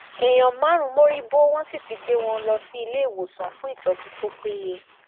èèyàn márùnún mórí bó wọn sì ti gbé wọn lọ sí iléèwòsàn fún ìtọjú tó péye